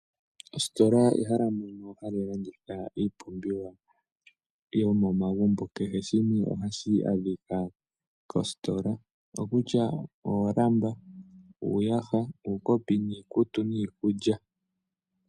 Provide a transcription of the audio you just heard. Ositola ehala moka hamu landithwa iipumbiwa yomomagumbo keshe shimwe ohashi adhika kositola ongashi uuyaha ,oolamba ,uukopi niikulya.